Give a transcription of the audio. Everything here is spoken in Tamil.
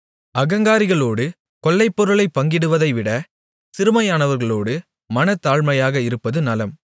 அகங்காரிகளோடு கொள்ளைப்பொருளைப் பங்கிடுவதைவிட சிறுமையானவர்களோடு மனத்தாழ்மையாக இருப்பது நலம்